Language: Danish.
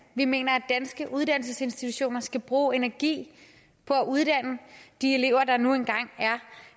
vi mener at danske uddannelsesinstitutioner skal bruge energi på at uddanne de elever der nu engang